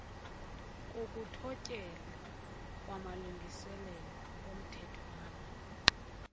kokuthotyelwa kwamalungiselelo omthethwana